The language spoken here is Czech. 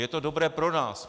Je to dobré pro nás.